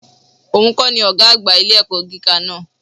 Ò nkọ́ ni Ògá àgbà ilé-ẹ̀kọ́ gíga náà